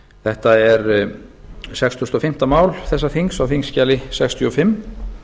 þetta er sextugustu og fimmta mál þessa þings á þingskjali sextíu og fimm